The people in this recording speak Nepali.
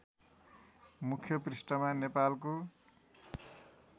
मुख्य पृष्‍ठमा नेपालको